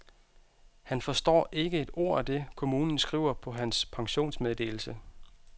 Han forstår ikke et ord af det, kommunen skriver på hans pensionsmeddelelse.